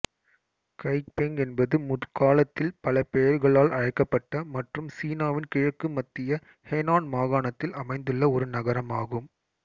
Kaifeng என்பது முற்காலத்தில் பல பெயர்களால் அழைக்கப்பட்ட மற்றும் சீனாவின் கிழக்குமத்திய ஹெனான் மாகாணத்தில் அமைந்துள்ள ஒரு நகரம் ஆகும்